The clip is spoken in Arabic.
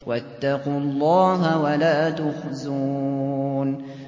وَاتَّقُوا اللَّهَ وَلَا تُخْزُونِ